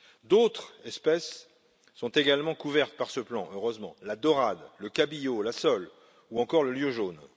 D'autres espèces sont également couvertes par ce plan, heureusement, la daurade, le cabillaud, la sole ou encore le lieu jaune.